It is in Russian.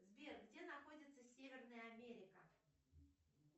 сбер где находится северная америка